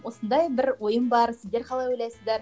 осындай бір ойым бар сіздер қалай ойлайсыздар